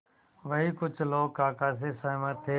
वहीं कुछ लोग काका से सहमत थे